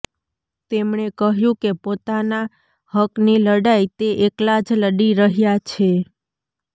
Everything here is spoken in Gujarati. તેમણે કહ્યું કે પોતાના હકની લડાઈ તે એકલા જ લડી રહ્યા છે